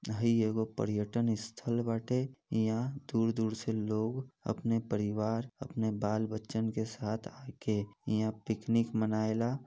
हइ एको पर्यटन स्थल वाटे। इहाँ दूर दूर से लोग अपने परिवार अपने बाल बच्चन के साथ आके इहाँ पिकनिक मनाएला।